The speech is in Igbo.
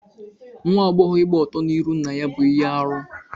Nwa agbọghọ ịgba ọtọ n'irụ nna ya bú ihe arụ.